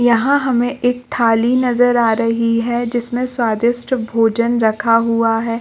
यहाँ हमें एक थाली नजर आ रही है जिसमे स्वादिष्ट भोजन रखा हुआ है।